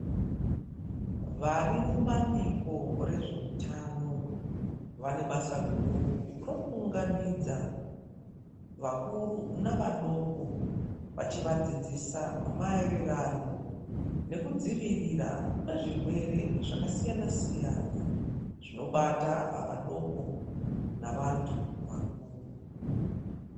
Varimubambiko rezveutano vanebasa guru rokuunganidza vakuru nevadoko vachivadzidzisa maererano nekudzivirira kwezvirwere zvakasiyana siyana zvinobata vadoko navantu vakuru.